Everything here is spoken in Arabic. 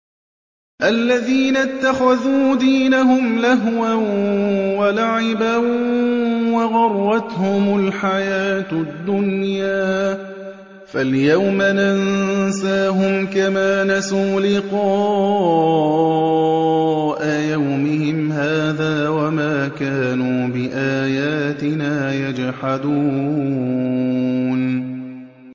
الَّذِينَ اتَّخَذُوا دِينَهُمْ لَهْوًا وَلَعِبًا وَغَرَّتْهُمُ الْحَيَاةُ الدُّنْيَا ۚ فَالْيَوْمَ نَنسَاهُمْ كَمَا نَسُوا لِقَاءَ يَوْمِهِمْ هَٰذَا وَمَا كَانُوا بِآيَاتِنَا يَجْحَدُونَ